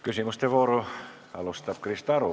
Küsimuste vooru alustab Krista Aru.